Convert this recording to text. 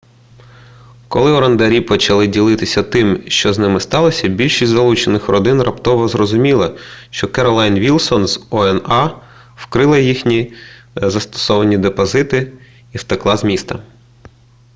коли орендарі почали ділитися тим що з ними сталося більшість залучених родин раптово зрозуміла що керолайн вілсон з oha вкрала їхні заставні депозити і втекла з міста